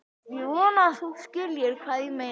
Ég vona að þú skiljir hvað ég meina.